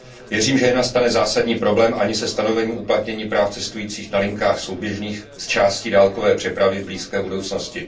Věřím, že nenastane zásadní problém ani se stanovením uplatnění práv cestujících na linkách souběžných s částí dálkové přepravy v blízké budoucnosti.